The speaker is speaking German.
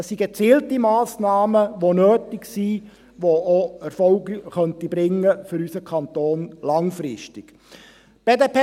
Es sind gezielte Massnahmen, die nötig sind und für unseren Kanton auch langfristig Erfolg bringen könnten.